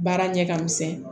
Baara ɲɛ ka misɛn